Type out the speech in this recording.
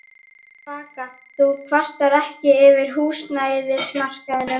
Vaka: Þú kvartar ekki yfir húsnæðismarkaðnum?